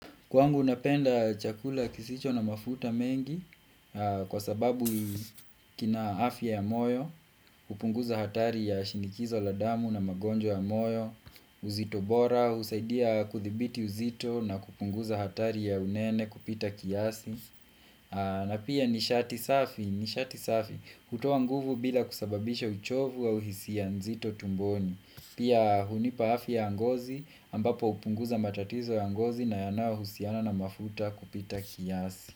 Kwangu napenda chakula kisicho na mafuta mengi kwa sababu kina afya ya moyo, hupunguza hatari ya shinikizo la damu na magonjwa ya moyo, uzito bora, husaidia kuthibiti uzito na kupunguza hatari ya unene kupita kiasi. Na pia nishati safi, nishati safi, hutoa nguvu bila kusababisha uchovu au hisia nzito tumboni. Pia hunipa afya ya ngozi ambapo hupunguza matatizo ya ngozi na yanayohusiana na mafuta kupita kiasi.